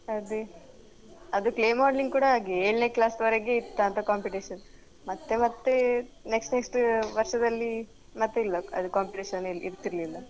ಅದೇ ಅದು clay modeling ಕೂಡ ಹಾಗೇ ಏಳ್ನೇ class ವರೆಗೆ ಇತ್ತಾಂತ competition ಮತ್ತೆ ಮತ್ತೆ next next ವರ್ಷದಲ್ಲಿ ಮತ್ತೆ ಇಲ್ಲ ಅದ್ competition ಏ ಇರ್ತಿರ್ಲಿಲ್ಲ.